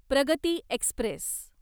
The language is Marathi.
प्रगती एक्स्प्रेस